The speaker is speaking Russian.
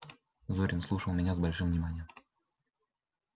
зурин слушал меня с большим вниманием